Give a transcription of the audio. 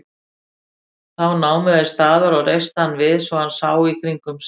Þá námu þeir staðar og reistu hann við svo hann sá í kringum sig.